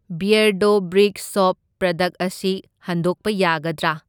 Beardo brick shop product ꯑꯁꯤ ꯍꯟꯗꯣꯛꯄ ꯌꯥꯒꯗ꯭ꯔꯥ?